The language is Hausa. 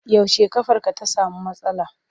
Yaushe ƙafarka ta samu matsala.